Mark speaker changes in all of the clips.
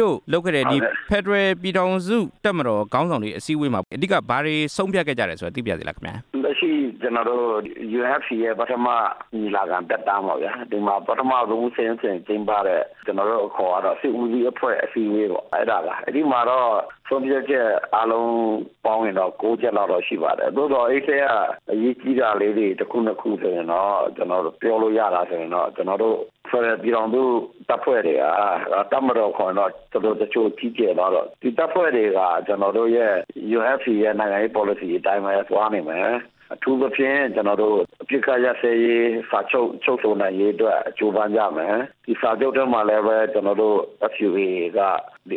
Speaker 1: တို့လုပ်ခဲ့တဲ့ ဖက်ဒရယ်ပြည်ထောင်စု တပ်မတော် ခေါင်းဆောင်တွေဆွေးနွေးတဲ့ ဆွေးနွေးပွဲမှာ အဓိကဘာတွေဆုံးဖြတ်ခဲ့ကြတယ်ဆိုတာ သိပါရစေလားခင်ဗျာ။
Speaker 2: လက်ရှိကျနော်တို့ UNFC ရဲ့ပထမညီလာခံသက်တမ်းပေါ့ဗျာ၊ ပထမဆုံးအကြိမ် ကျင်းပတဲ့ ကျနော်တို့အခါ်ကတော့ စစ်ဦးစီးအဖွဲ့အစည်းအဝေးပေါ့၊ အဲ့ဒါပါ၊ အဲ့ဒီမှာဆုံးဖြတ်ချက်အားလုံးပေါင်းရင်တော့ ၉ ချက်လောက်တော့ ရှိပါတယ်၊ သို့သော်အဲ့ဒီအထဲက အရေးကြီးတာလေးတွေ ၁ ခု ၂ ခုဆိုရင်တော့ ပြောလို့ရလားတော့ ကျနော်တို့အဖွဲ့ ဖက်ဒရယ်ပြည်ထောင်စုတပ်ဖွဲ့တွေက တပ်မတော်လိုခေါ်ရင်တော့ တချို့ကြီးကျယ်သွားတော့ ဒီတပ်ဖွဲ့တွေဟာ ကျနော်တို့ရဲ့ UNFC ရဲ့ပေါ်လစီအတိုင်းပဲ သွားနေမယ်၊ အထူးသဖြင့် ကျနော်တို့ အပစ်အခက်ရပ်စဲရေး စာချုပ်ချုပ်ဆိုနိုင်ရေးအတွက် ကြိုးပမ်းကြမယ်၊ စာချုပ်ထဲကိုလည်း ကျနော်တို့ လက်မှတ်ထိုးပြီးရင် လေး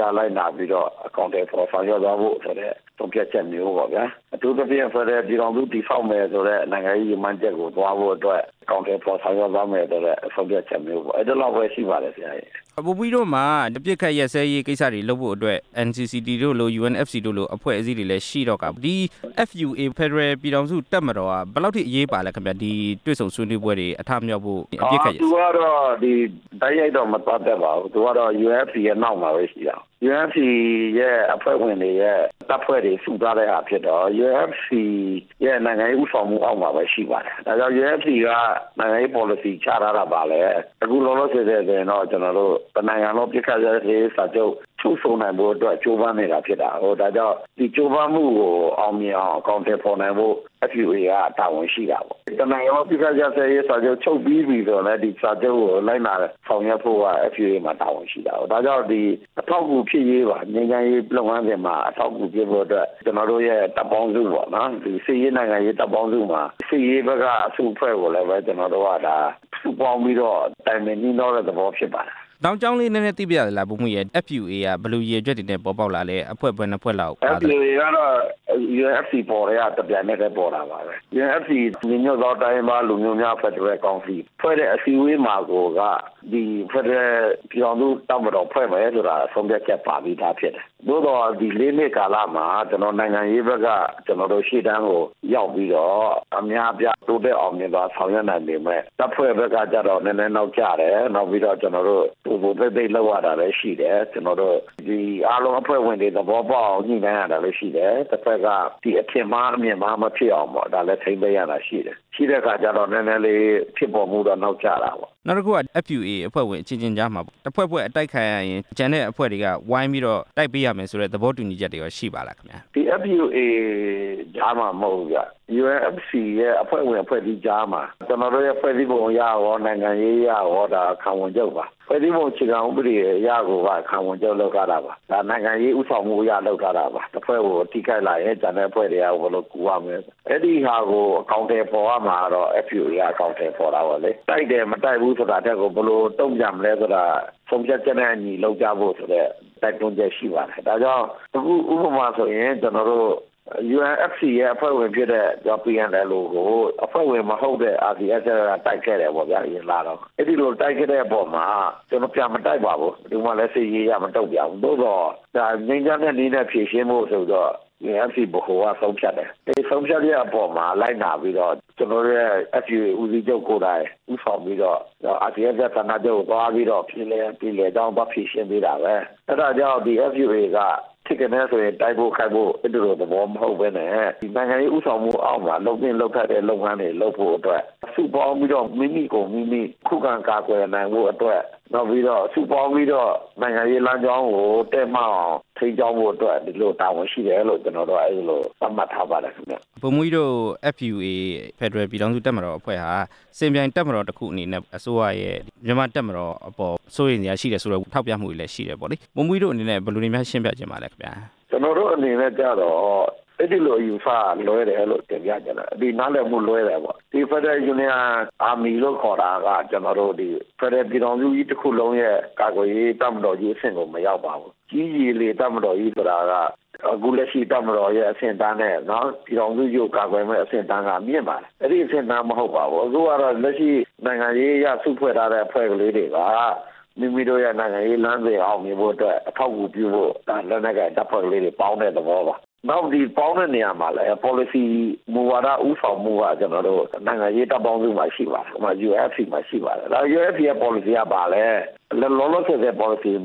Speaker 2: စားလိုက်နာပြီးတော့ အကောင်အထည်ဖော် ဆောင်ရွက်သွားဖို့ဆိုတဲ့ ဆုံးဖြတ်ချက်မျိုးပေါ့၊ အထူးသဖြင့် ဖက်ဒရယ်ပြည်ထောင်စု တည်ဆောက်မယ်ဆိုတဲ့ နိုင်ငံရေးရည်မှန်းချက်ကိုသွားဖို့အတွေက် အကောင်အထည်ဖော် ဆောင်ရွက်သွားမယ်ဆိုတဲ့ ဆုံးဖြတ်ချက်မျိုးပေါ့၊ အဲ့သလောက်ပဲရှိပါတယ်။
Speaker 1: ဗိုလ်မှူးကြီးတို့မှာ အပစ်အခက်ရပ်စဲရေး ကိစ္စတွေလုပ်ဖို့အတွက် NCCT တို့လို UNFC တို့လို အဖွဲ့အစည်းတွေလည်းရှိတော့ကာ ဒီ FUA ဖက်ဒရယ်ပြည်ထောင်စု တပ်မတော်က ဘယ်လောက်အထိ အရေးပါသလဲခင်ဗျ၊ ဒီတွေ့ဆုံဆွေးနွေးပွဲတွေ အထမြောက်ဖို့။
Speaker 2: သူကတော့ တိုက်ရိုက်တော့မပတ်သက်ပါဘူး၊ သူကတော့ UNFC ရဲ့နောက်မှာပဲရှိတာ UNFC အဖွဲ့ဝင်တွေရဲ့ တပ်ဖွဲ့တွေစုထားတာဖြစ်တော့ UNFC ရဲ့နိုင်ငံရေး ဦးဆောင်မှှုအောက်မှာ ရှိပါတယ်၊ ဒါကြောင့် UNFC က နိုင်ငံပေါ်လစီ ချထားတာဘာလဲ၊ အခုလောလောဆယ်ဆိုရင်တော့ ကျနော်တို့ တနိုင်ငံလုံအပစ်ရပ်ရေး စာချုပ်ဆိုနိုင်ဖို့အတွက် ကြိုးပမ်းနေတာ ဖြစ်ပါတယ်၊ ဒါကြောင့် ဒီကြိုးပမ်းမှှုကို အောင်မြင်အောင် အကောင်အထည်ဖော်ဖို့ FUA ကတာဝန်ရှိပါတယ်၊ တနိုင်ငံလုံး အပစ်အခက်ရပ်စဲရေးစာချုပ် ချုပ်ပြီးပြီဆိုရင်လည်း ဒီစာချုပ်ကို လိုက်နာဆောင်ရွက်ဖို့က FUA မှာတာဝန်ရှိတာပေါ့၊ ဒါကြောင့် အထောက်အကူဖြစ်ရေးပါ၊ နိုင်ငံရေး လုပ်ငန်းစဉ်မှာ အထောက်အကူဖြစ်ဖို့အတွက် ကျနော်တို့ရဲ့ တပ်ပေါင်းစုပေါ့နော်၊ စစ်ရေး၊ နိုင်ငံရေး တပ်ပေါင်းစုမှာ စစ်ရေးဘက်က အစုအဖွဲ့ကိုလည်း ကျနော်တို့က စုပေါင်းပြီးတော့ တိုင်ပင်နှှီးနှောတဲ့ သဘောဖြစ်ပါတယ်။
Speaker 1: နောက်ကြောင်းလေး နည်းနည်းသိပါရစေလား ဗိုလ်မှူးကြီးရယ်၊ FUA ကဘယ်လိုရည်ရွယ်ချက်တွေနဲ့ ပေါ်ပေါက်လာသလဲ၊ အဖွဲ့ဘယ်နှစ်ဖွဲ့ပါသလဲ။
Speaker 2: FUA က UNFC ပေါ်ကတည်းက တပြိုင်နက်တည်း ပေါ်တာပါပဲ၊ UNFC ညီညွတ်သော တိုင်းရင်းလူမျိုးများ ဖက်ဒရယ်ကောင်စီ ဖွဲ့တဲ့အစည်းအဝေးမှာကိုက ဖက်ဒရယ်ပြည်ထောင်စု တပ်မတော်ဖွဲ့မယ်ဆိုတာ ဆုံးဖြတ်ချက်ပါပြီးသားဖြစ်တယ်၊ သို့သော် ဒီ ၄ နှစ်ကာလမှာ နိုင်ငံရေးဘက်က ကျနော်တို့ ရှေ့တန်းကိုရောက်ပြီးတော့ အများအပြား တိုးတက်အောင်မြင်နိုင်ပေမဲ့ တပ်ဖွဲ့ဖွဲ့ရေးကတော့ နည်းနည်းနောက်ကျတယ်၊ နောက်ပြီးတော့ ကျနော်တို့ သိုသိုသိပ်သိပ် လုပ်ရတယ်၊ ကျနော်တု့ိ အားလုံးဖွဲ့ဝင်တွေ နားလည်သဘောပေါက်အောင် ညှိနှှိုင်းရတာလည်းရှိတယ်၊ အဘက်ဘက်က အထင်မှားအမြင်မှားဖြစ်အောင် ထိန်းသိမ်းရတာရှိတယ်၊ ရှိတဲ့အခါကျတော့ နည်းနည်းလေး ဖြစ်ပေါ်မှှုတော့နောက်ကျတာပေါ့။
Speaker 1: နောက်တစ်ခုက FUA အဖွဲ့ဝင်တွေကြားမှာပေါ့ တစ်ဖွဲ့ဖွဲ့ အတိုက်ခံရရင် ကျန်တဲ့အဖွဲ့တွေက ဝိုင်းပြီးတော့ တိုက်ပေးရမယ်ဆိုတဲ့ သဘောတူညီချက်တွေကော ရှိပါသလား။
Speaker 2: FUA ကြားမှာမဟုတ်ဘူးဗျ၊ UNFC ရဲ့အဖွဲ့ဝင် အဖွဲ့အစည်းကြားမှာ ကျနော်တို့ရဲ့ ဖွဲ့စည်းပုံအရရော၊ နိုင်ငံရေးအရရော ခံဝန်ချုပ်ပါ၊ ဖွဲ့စည်းပုံအခြေခံဥပဒေအရကိုက ခံဝန်ချုပ်လုပ်ထားတာပါ၊ နိုင်ငံရေးဦးဆောင်မှှုအရ လုပ်ထားတာပါ၊ တစ်ဖွဲ့ကို ထိခိုက်လာရင် ကျန်တဲ့အဖွဲ့တွေက ဝင်ကူရမယ်၊ အဲ့ဒီဟာကို အကောင်အထည်ဖော်ရမှာကတော့ FUA ကအကောင်အထည်ဖော်တာပေါ့လေ၊ တိုက်တယ် မတိုက်ဘူးဆိုတာထက်ကို ဘယ်လိုတုန့်ပြန်မလဲဆိုတာ ဆုံးဖြတ်ချက်နဲ့အညီလုပ်ကြဖို့ တိုက်တွန်းချက်ရှိပါတယ်၊ ဒါကြောင့် အခုဥပမာဆိုရင် ကျနော်တို့ UNFC ရဲ့အဖွဲ့ဝင်ဖြစ်တဲ့ PNLO ကို အဖွဲ့ဝင်မဟုတ်တဲ့ RCSS ကတိုက်ခဲ့တယ်ပေါ့ဗျာ၊ အဲ့ဒီလိုတိုက်ခဲ့တဲ့အပေါ်မှာ ကျနော်တို့ပြန်မတိုက်ပါဘူး ဘယ်သူမှလည်း စစ်ရေးအရမတုန့်ပြန်ဘူး၊ သို့သော် ဒါငြိမ်းချမ်းတဲ့နည်းနဲ့ဖြေရှင်းဖို့ ဆိုပြီးတော့ UNFC ဗဟိုကဆုံးဖြတ်တယ်၊ ဒီလိုဆုံးဖြတ်တဲ့အပေါ်မှာ လိုက်နာပြီးတော့ ကျနော်တို့ရဲ့ FUA ဦးစီးချုပ်ကိုယ်တိုင် ဦးဆောင်ပြီးတော့ RCSS ဌါနချုပ်ကိုသွားပြီးတော့ ပြေလည်ရာပြေလည်ကြောင်း သွားဖြေရှင်းတာပဲ၊ အဲ့ဒါကြောင့် FUA က ထိကနဲဆိုရင် တိုက်ဖို့ခိုက်ဖို့ မဟုတ်ပဲနဲ့ နိုင်ငံရေးဦးဆောင်မှှုအောက်မှာ လုပ်သင့်လုပ်ထိုက်တာတွေလုပ်ဖို့အတွက် စုပေါင်းပြီးတော့ မိမိကိုယ်မိမိ ခုခံကာကွယ်နိုင်ဖို့အတွက် နောက်ပြီးတော့ စုပေါင်းပြီးတော့ နိုင်ငံရေးလမ်းကြောင်းကို တည့်မက်အောင် ထိန်းကျောင်းဖို့အတွက် ဒီလိုတာဝန်ရှိတယ်လို့ ကျနော်တို့ကအဲ့လို သက်မှတ်ထားပါတယ်ခင်ဗျ။
Speaker 1: ဗိုလ်မှူးကြီး FUA ဖက်ဒရယ်ပြည်ထောင်စု တပ်မတော်အဖွဲ့ဟာ စင်ပြိုင်တပ်မတော်တစ်ခုအနေနဲ့ အစိုးရရဲ့ မြန်မာ့တပ်မတော်အပေါ် စိုးရိမ်စရရှိတယ်လို့လည်း ထောက်ပြမှှုတွေရှိတယ်ပေါ့လေ၊ ဗိုလ်မှူးကြီးတို့ အနေနဲ့ဘယ်လိုတွေများ ရှင်းပြချင်ပါသလဲခင်ဗျ။
Speaker 2: ကျနော်တို့အနေနဲ့ကျတော့ အဲဒီလိုအယူအဆကလွဲတယ်၊ နားလည်မှှုလွဲတယ်ပေါ့၊ ကျနော်တို့ ဖက်ဒရယ်ပြည်ထောင်စုကြီးတစ်ခုလုံးရဲ့ကာကွယ်ရေးအဆင့်ကို မရောက်ပါဘူး၊ ကြည်းရေလေတပ်မတော်ကြီးဆိုတာက အခုလက်ရှိတပ်မတော်ရဲ့ အဆင့်အတန်းနဲ့ ပြည်ထောင်စုကြီးကို ကာကွယ်နိုင်မဲ့အဆင့်က မြင့်ပါတယ်၊ အဲ့ဒီအဆင့်အတန်းမဟုတ်ပါဘူး၊ အခုလက်ရှိ နိုင်ငံရေးအရစုဖွဲ့ထားတဲ့ အဖွဲ့လေးတွေပါ၊ မိမိတို့ရဲ့ နိုင်ငံရေးလမ်းစဉ်အောက်နေဖို့အတွက် အထောက်အကူပြုဖို့ ဒါလက်နက်ကိုင်တပ်ဖွဲ့လေးတွေပေါင်းတဲ့ သဘောပါ၊ ပေါင်းတဲ့နေရာမှာလည်း ပေါ်လစီမူဝါဒ ဦးဆောင်မှှုက ကျနော်တို့ နိုင်ငံရေးတပ်ပေါင်းစုမှာရှိပါတယ်၊ UNFC မှာရှိပါတယ်၊ UNFC ကပေါ်လစီကဘာလဲ လောလောဆယ်ဆယ်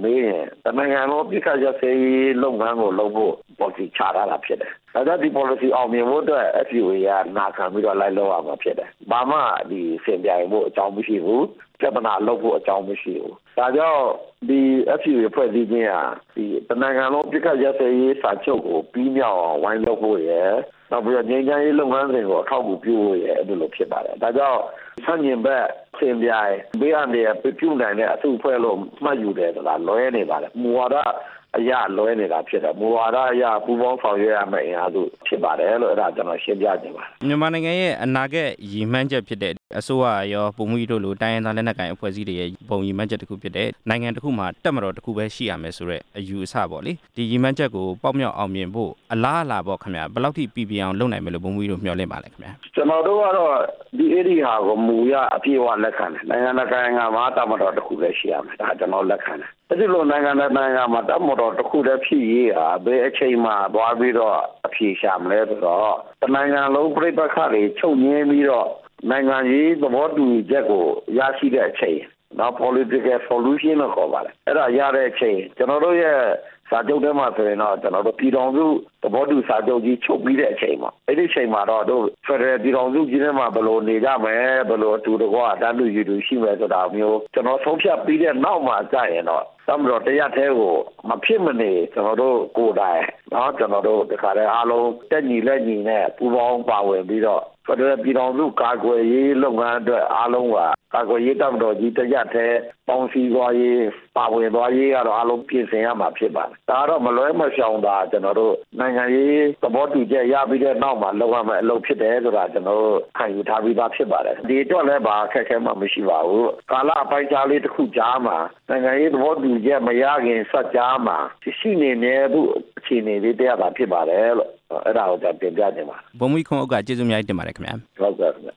Speaker 2: မေးရင် တနိုင်ငံလုံးအပစ်အခက်ရပ်စဲရေး လုပ်ငန်းကိုလုပ်ဖို့ ပေါ်လစီချထားတာဖြစ်တယ်၊ ဒီပေါ်လစီအောင်မြင်ဖို့အတွက် FUA ကနာခံပြီးတော့ လိုက်လုပ်ရမှာဖြစ်တယ်၊ ဘာမှစင်ပြိုင်ဖို့ အကြောင်းမရှိဘူး၊ ပြဿနာလုပ်ဖို့ အကြောင်းမရှိဘူး၊ FUA အဖွဲ့အစည်းဟာ တနိုင်ငံလုံးအပစ်အခက်ရပ်စဲရေး စာချုပ်ကိုပြီးမြောက်အောင် ဝိုင်းလုပ်ဖို့ရယ်၊ နောက်ပြီးတော့ ငြိမ်းချမ်းရေးလုပ်ငန်းစဉ်တွေကို အထောက်အကူပြုဖို့ရယ် အဲ့ဒီလိုဖြစ်ပါတယ်၊ ဒါကြောင့် ဆန့်ကျင်ဘက်ထင်စရာ ဘေးအန္တရာယ်ပြုနိုင်တဲ့ အစုအဖွဲ့လို့မှတ်ယူတယ်ဆိုတာ လွဲနေပါတယ် မူဝါဒအရလွဲနေတာဖြစ်တယ်၊ မူဝါဒအရ ပူပေါင်းဆောင်ရွက်ရမဲ့ အင်အားစုဖြစ်ပါတယ်လို့ အဲ့ဒါတွေကို ကျနော်ရှင်းပြချင်ပါတယ်။
Speaker 1: မြန်မာနိုင်ငံရဲ့ အနာဂတ်ရည်မှန်းချက်ဖြစ်တဲ့ အစိုးရရော ဗိုလ်မှူးကြီးတို့လို တိုင်းရင်းသား လက်နက်ကိုင်အဖွဲ့အစည်းတွေရဲ့ ဗဟိုရည်းမှန်းချက်တစ်ခုဖြစ်တဲ့ နိုင်ငံတစ်ခုမှာ တပ်မတော်တစ်ခုပဲရှိရမယ်ဆိုတဲ့ အယူအဆပေါ့လေ၊ ဒီရည်မှန်းချက်ကို ပေါက်မြောက်အောင်မြင်ဖို့ အလားအလာပေါ့ခင်ဗျ ဘယ်လောက်ထိ ပီပြင်အောင်လုပ်နိုင်မယ်လို့ ဗိုလ်မှူးကြီးတို့ မျှော်လင့်ပါလဲခင်ဗျ။
Speaker 2: ကျနော်တို့ကတော့ အဲ့ဒီဟာကို မူအရအပြည့်အဝလက်ခံတယ်၊ နိုင်ငံတစ်နိုင်ငံမှာ တပ်မတော်တစ်ခုပဲ ရှိရမယ်၊ ဒါကို ကျနော်တို့ လက်ခံတယ်၊ အဲ့ဒီလိုနိုင်ငံတစ်နိုင်ငံမှာ တပ်မတော်တစ်ခုတည်းဖြစ်ရေးဟာ ဘယ်အချိန်မှာသွားပြီးတော့ အဖြေရှာလဲဆိုတော့ တနိုင်ငံလုံးပဋိပက္ခတွေ ချုပ်ငြိမ်းပြီးတော့ နိုင်ငံရေးသဘောတူညီချက်ကို ရရှိတဲ့အချိန် ကျနော်တို့ ပြည်ထောင်စု သဘောတူစာချုပ်ကြီးချုပ်ပြီးတဲ့အချိန်မှာ အဲ့ဒီအချိန်မှာတော့ ဖက်ဒရယ်ပြည်ထောင်စုကြီးမှာ ဘယ်လိုနေကြမယ်၊ ဘယ်လိုအတူတကွ တန်းတူရည်တူရှိမယ်ဆိုတာမျိုး ကျနော်တို့ ဆုံးဖြတ်ပြီးတဲ့နောက်မှာကျရင်တော့ တပ်မတော်တရပ်တည်းကို မဖြစ်မနေ ကျနော်တို့ကိုယ်တိုင် အားလုံးတက်ညီလက်ညီနဲ့ ပူးပေါင်းပါဝင်ပြီးတော့ ဖက်ဒရယ်ပြည်ထောင်စု ကာကွယ်ရေးလုပ်ငန်းအတွက် အားလုံးဟာ ကာကွယ်ရေးတပ်မတော်ကြီးတရပ်တည်း ပေါင်းစည်းသွားရေး၊ ပါဝင်သွားရေးကတော့ အားလုံးပြင်ဆင်ရမှာဖြစ်ပါတယ်၊ ဒါတော့ မလွှဲမရှောင်သာ ကျနော်တို့ နိုင်ငံရေး သဘောတူညီချက်ရပြီးတဲ့နောက်မှာ လုပ်ရမဲ့အလုပ်ဖြစ်တယ်ဆိုတာ ကျနော်တို့ ခံယူထားပြီးသားဖြစ်ပါတယ်၊ ဒီအတွက်လည်း ဘာအခက်အခဲမှ မရှိပါဘူး၊ ကာလအပိုင်းအခြားလေးတစ်ခုကြားမှာ နိုင်ငံရေးသဘောတူညီချက် မရခင်စပ်ကြားမှာ ဖြစ်နေတဲ့အခြေအနေလေး တရပ်သာဖြစ်ပါတယ်လို့ အဲ့ဒါကို ကျနော်တင်ပြလျက်ပါတယ်။
Speaker 1: ဗိုလ်မှူးကြီး ခွန်ဥက္ကာကို ကျေးဇူးအထူးတင်ရှိပါတယ်ခင်ဗျာ။
Speaker 2: ဟုတ်ကဲ့ခင်ဗျ